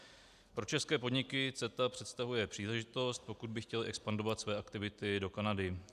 Pro české podniky CETA představuje příležitost, pokud by chtěly expandovat své aktivity do Kanady.